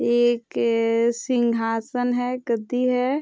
एक सिंघासन है गद्दी है।